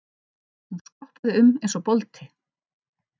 Hún skoppaði um eins og bolti.